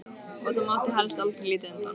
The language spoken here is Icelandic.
Og það mátti helst aldrei líta undan.